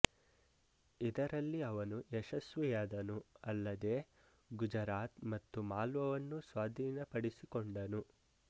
ಇದರಲ್ಲಿ ಅವನು ಯಶಸ್ವಿಯಾದನು ಅಲ್ಲದೇ ಗುಜರಾತ್ ಮತ್ತು ಮಾಲ್ವವನ್ನು ಸ್ವಾಧೀನಪಡಿಸಿಕೊಂಡನು